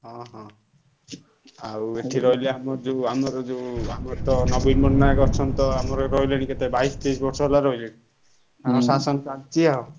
ହଁ ହଁ ଆଉ ଏଠି ରହିଲେ ଆମର ଯୋଉ ଆମର ଯୋଉ ଆମର ତ ନବୀନ ପଟ୍ଟନାୟକ ଅଛନ୍ତି ତ ଆମର ରହିଲେଣି କେତେ ବାଇଶି ତେଇଶି ବର୍ଷ ହେଲା ରହିଲେଣି। ଶାସନ ଚାଲଚି ଆଉ।